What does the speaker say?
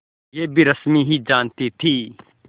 यह भी रश्मि ही जानती थी